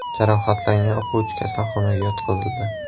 Jarohatlangan o‘quvchi kasalxonaga yotqizildi.